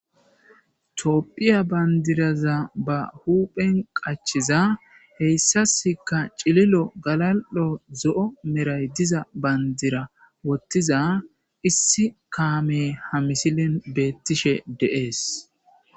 Toopphiya bayndiraza ba huuphen qachiza heyssaska cililo galal'o zo'o meray diza bayndira wottiza issi kaame ha misilin beettishe deees.